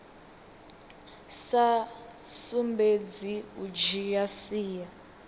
sa sumbedzi u dzhia sia